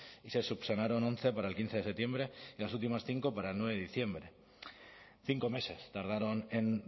y se subsanaron once para el quince de septiembre y las últimas cinco para el nueve de diciembre cinco meses tardaron en